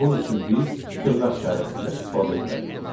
Bunun üçün biz dırnaq işarəsindən istifadə etməliyik.